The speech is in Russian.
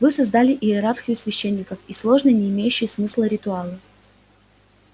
вы создали иерархию священников и сложные не имеющие смысла ритуалы